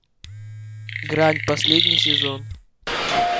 грань последний сезон